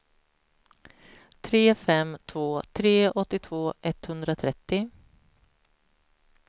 tre fem två tre åttiotvå etthundratrettio